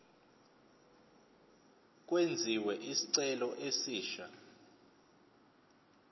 kwenziwe isicelo esisha